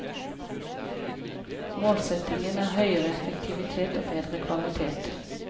Målsetningen er høyere effektivitet og bedre kvalitet.